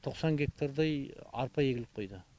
тоқсан гектардай арпа егіліп қойды